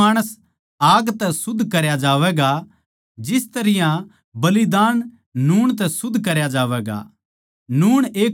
हरेक माणस आग तै शुद्ध करया जावैगा जिस तरियां बलिदान नूण तै शुद्ध करया जावैगा